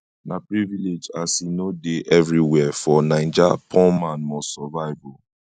na privilege as e no dey evriwhere for naija poor man must survive o